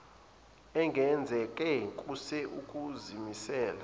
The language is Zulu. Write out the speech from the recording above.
engenzeke kuse ukuzimiseleni